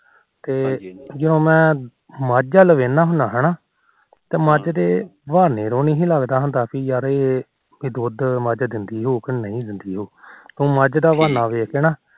ਤੇ ਜਦੋ ਮੈ ਮੱਝ ਵਾਲਾ ਹੁੰਦਾ ਹਨਾ ਤੇ ਮੱਝ ਦੇ ਯਾਰ ਇਹ ਦੁਧ ਮੱਝ ਦਿੰਦੀ ਹੋਉ ਕ ਨਹੀਂ ਦਿੰਦੀ ਹੋਉ ਉਹ ਮੱਝ ਦਾ ਬਾਹਨਾ ਵੇਖ ਕੇ ਨਾ